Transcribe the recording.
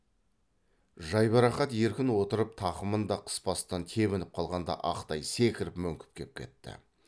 жайбарақат еркін отырып тақымын да қыспастан тебініп қалғанда ақ тай секіріп мөңкіп кеп кетті